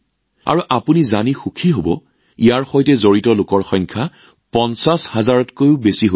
আৰু আপোনালোকে জানি সুখী হব যে অতি কম সময়ৰ ভিতৰতে ইয়াৰ সৈতে জড়িত লোকৰ সংখ্যা ৫০ হাজাৰৰো অধিক হৈছে